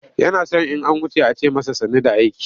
Yana son in an wuce a ce masa sannu da aiki.